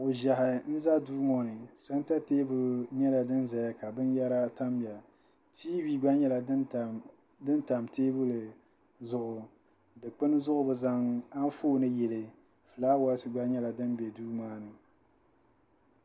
Kuɣ'ʒɛhi n-za duu ŋɔ ni santa teebuli nyɛla din zaya ka binyɛra tamya tiivi gba nyɛla din tam teebuli zuɣu dukpuni zuɣu bɛ zaŋ anfooni yili fulaawaasi gba nyɛla din be duu maa ni.